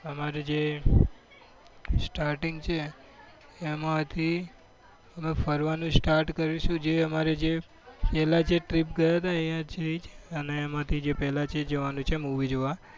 અમારું જે starting છે એમાંથી અમે ફરવાનું start કરીશું. જે અમારે છેલ્લા જે team ગયો હતો. તે અને એમાંથી પહેલા જે જવાનું છે movie જોવા.